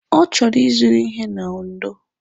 Ọ chọrọ ịzụrụ ihe na Ondo.